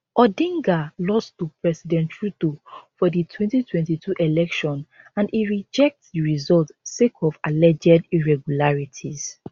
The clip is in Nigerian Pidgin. odinga lost to president ruto for di 2022 election and e reject di results sake of alleged irregularities